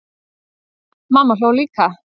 Mamma hló líka.